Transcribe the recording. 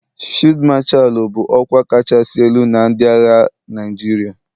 Fiidu Mashalu bụ ọkwa kachasị elu na ndị agha Naijiria.